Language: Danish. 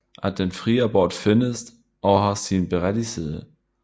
At den fri abort findes og har sin berettigelse